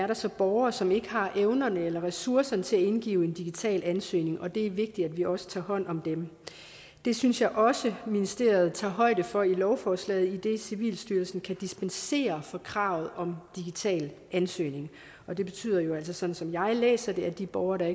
der så er borgere som ikke har evnerne eller ressourcerne til at indgive en digital ansøgning det er vigtigt at vi også tager hånd om dem det synes jeg også ministeriet tager højde for i lovforslaget idet civilstyrelsen kan dispensere fra kravet om digital ansøgning det betyder jo altså sådan som jeg læser det at de borgere der